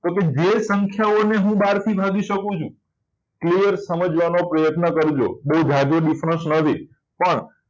જો કે જે સંખ્યાઓને હું બાર ભાગી શકું છું તે સમજવાનો પ્રયત્ન કરજો. ઓ લાંબુ difference નથી પણ